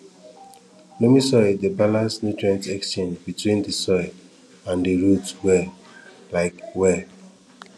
loamy soil dey balance nutrient exchange between di soil and di root well um well